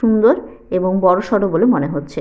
সুন্দর এবং বড়সড় বলে মনে হচ্ছে।